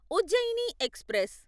Ujjaini express